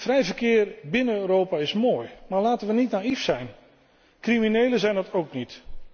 Vrij verkeer binnen Europa is mooi, maar laten we niet naïef zijn. Criminelen zijn dat ook niet.